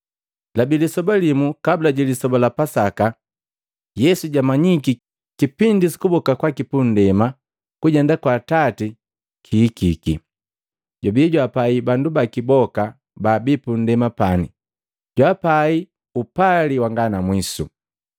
Labi lisoba limu kabula ji Lisoba la Pasaka. Yesu jwamanyiki kipindi sukuboka kwaki punndema kujenda kwa Atati lihikiki. Jwabii jwaapai bandu baki boka baabii punndema pani, jwaapai upali wanga na mwiso!